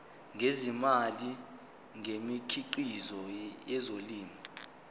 ngezimali ngemikhiqizo yezolimo